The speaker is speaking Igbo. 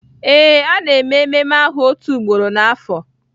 Ee, a na-eme ememme ahụ otu ugboro n'afọ